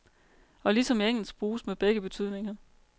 Og ligesom i engelsk bruges med begge betydninger.